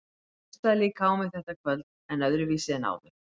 Hún hlustaði líka á mig þetta kvöld, en öðruvísi en áður.